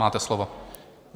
Máte slovo.